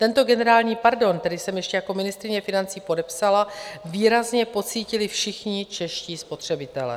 Tento generální pardon, který jsem ještě jako ministryně financí podepsala, výrazně pocítili všichni čeští spotřebitelé.